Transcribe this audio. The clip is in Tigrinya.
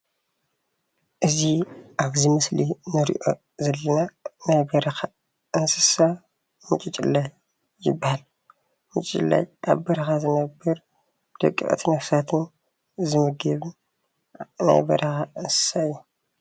እዚ ኣብዚ ምስሊ ንርእዮ ዘለና ናይ በረኻ እንስሳ ምጬጭለ ይበሃል። ምጬጭለ ኣብ በረካ ዝነብር ደቀቅቲ ነፍሳትን ዝምገብ ናይ በረኻ እንስሳ እዩ።